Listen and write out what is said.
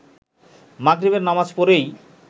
মাগরিবের নামাজ পড়েই